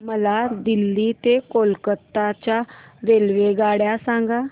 मला दिल्ली ते कोलकता च्या रेल्वेगाड्या सांगा